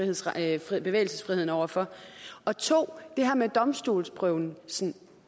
indskrænke bevægelsesfriheden over for og 2 det her med domstolsprøvelsen